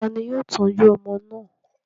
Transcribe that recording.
Ta ni yóò tọ́jú ọmọ náà?